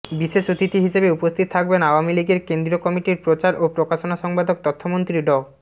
বিশেষ অতিথি হিসেবে উপস্থিত থাকবেন আওয়ামী লীগের কেন্দ্রীয় কমিটির প্রচার ও প্রকাশনা সম্পাদক তথ্যমন্ত্রী ড